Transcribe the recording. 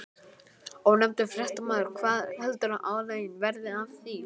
Ónefndur fréttamaður: Hver heldurðu að afleiðingin verði af því?